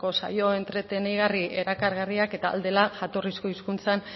saio entretenigarri erakargarriak eta ahal dela jatorrizko hizkuntzan